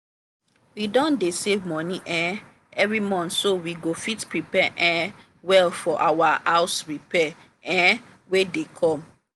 we don dey save money um every month so we go fit prepare um well for our house repairs um wey dey come.